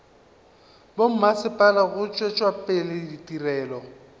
bommasepala go tšwetša pele ditirelo